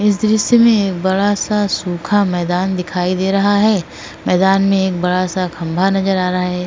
इस दृश्य में एक बड़ा सा सूखा मैदान दिखाई दे रहा है। मैदान में एक बड़ा सा खंबा नजर आ रहा है।